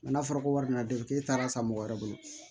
n'a fɔra ko wari nana don k'e taara san mɔgɔ wɛrɛ bolo